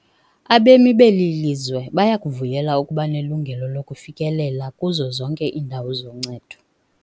Abemi beli lizwe bayakuvuyela ukuba nelungelo lokufikelela kuzo zonke iindawo zoncedo.